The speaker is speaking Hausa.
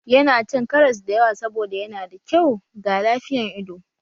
Yana cin karas da yawa saboda yana da kyau ga lafiyan ido